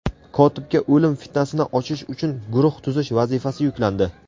Kotibga o‘lim fitnasini ochish uchun guruh tuzish vazifasi yuklandi.